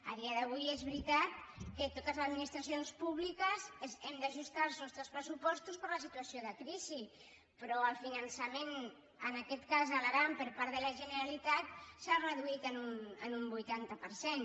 a dia d’avui és veritat que totes les administracions públiques hem d’ajustar els nostres pressupostos per la situació de crisi però el finançament en aquest cas a l’aran per part de la generalitat s’ha reduït en un vuitanta per cent